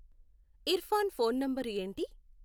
Irfan phone number ఏంటి?